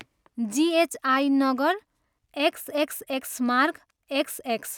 G H I नगर, XXX मार्ग, XX.